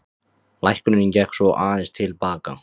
Lækkunin gekk svo aðeins til baka